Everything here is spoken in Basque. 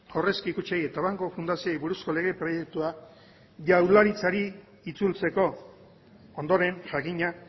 aurrezki kutxei eta banku fundazioei buruzko lege proiektua jaurlaritzari itzultzeko ondoren jakina